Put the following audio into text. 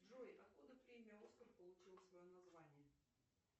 джой откуда премия оскар получила свое название